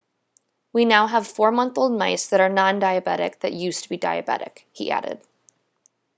"we now have 4-month-old mice that are non-diabetic that used to be diabetic, he added